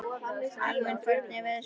Alvin, hvernig er veðurspáin?